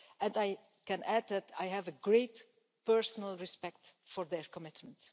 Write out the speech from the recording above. I can add that I have a great personal respect for their commitment.